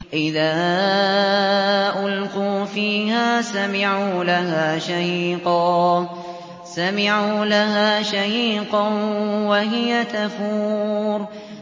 إِذَا أُلْقُوا فِيهَا سَمِعُوا لَهَا شَهِيقًا وَهِيَ تَفُورُ